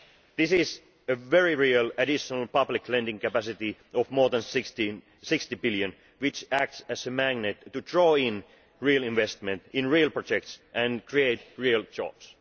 This is a very real, additional public lending capacity of more than EUR 60 billion which acts as a magnet to draw in real investment in real projects and create real jobs.